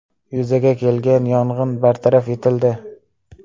Yuzaga kelgan yong‘in bartaraf etildi.